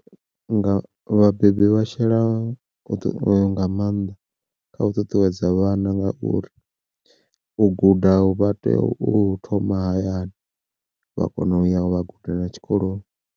Nga vhabebi vha shela nga maanḓa kha u ṱuṱuwedza vhana ngauri, u guda u vha tea u hu thoma hayani vha kona u ya vha gudela tshikoloni.